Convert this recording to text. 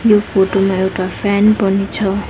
यो फोटो मा एउटा फ्यान पनि छ।